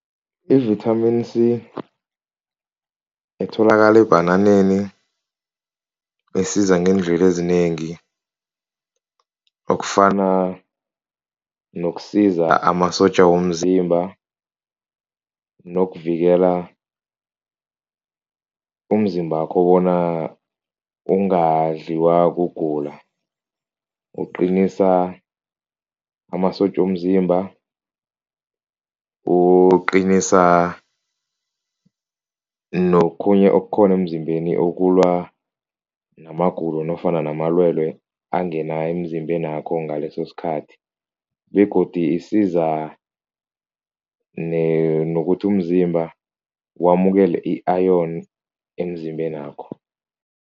Ivithamini C etholakala ebhananeni, isiza ngeendlela ezinengi okufana nokusiza amasotja womzimba nokuvikela umzimbakho bona ungadliwa kugula, uqinisa amasotja womzimba, uqinisa nokhunye okukhona emzimbeni ukulwa namagulo nofana namalwelwe angena emzimbenakho ngaleso sikhathi begodu isiza nokuthi umzimba wamukela i-iron emzimbenakho.